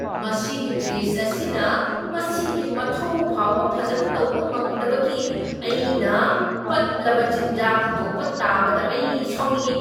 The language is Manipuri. ꯃꯁꯤꯒꯤ ꯐ꯭ꯔꯤꯖ ꯑꯁꯤꯅ ꯃꯁꯤꯒꯤ ꯃꯊꯧ ꯐꯥꯎꯕ ꯐꯖꯅ ꯇꯧꯕ ꯉꯝꯗꯕꯗꯒꯤ ꯑꯩꯅ ꯄꯠꯂꯕ ꯆꯤꯟꯖꯥꯛ ꯍꯨꯟꯗꯣꯛꯄ ꯇꯥꯕꯗ ꯑꯩ ꯁꯥꯎꯅꯤꯡꯏ꯫